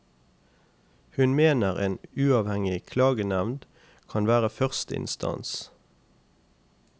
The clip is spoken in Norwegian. Hun mener en uavhengig klagenevnd kan være første instans.